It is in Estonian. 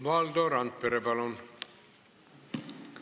Valdo Randpere, palun!